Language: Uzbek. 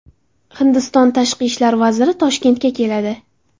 Hindiston tashqi ishlar vaziri Toshkentga keladi.